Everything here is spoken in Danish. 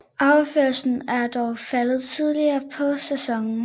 Afgørelsen er dog faldet tidligere på sæsonen